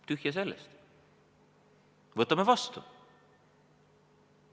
Tühja sellest, võtame vastu!